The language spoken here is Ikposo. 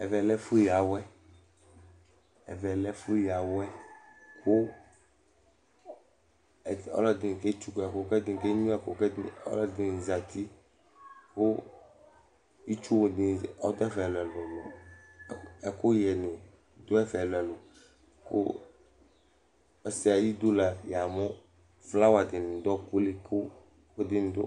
Ɛvɛ lɛ ɛfʋyǝ awɛ Ɔlɔdɩnɩ ke tsʋkʋ ɛkʋ, kʋ ɛdɩnɩ kenyʋǝ ɛkʋ, kʋ ɔlɔdɩnɩ azǝtɩ Itsu nɩ adʋ ɛfɛ ɛlʋ ɛlʋ Ɛkʋyɛ nɩ adʋ ɛdɛ ɛlʋ ɛlʋ Ɔsɩ ayʋ ɩdʋ flawa dɩnɩ adʋ ɔɔkʋ li